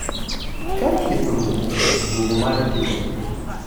ka thieth orumo, duogo mare tin